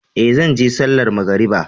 Ee, zan je sallar magariba.